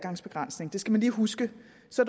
så